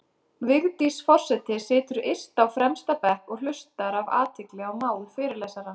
Vigdís forseti situr yst á fremsta bekk og hlustar af athygli á mál fyrirlesara.